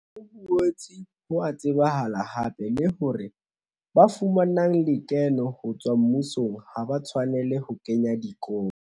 Ho boetse ho a tsebahala hape le hore ba fumanang lekeno ho tswa mmusong ha ba tshwanelehe ho kenya dikopo.